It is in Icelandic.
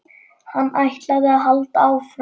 Hann ætlaði að halda áfram.